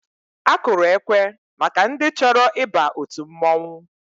Akụrụ ekwe maka ndị chọrọ ịba òtù mmọnwụ.